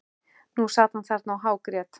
Nú sat hann þarna og hágrét.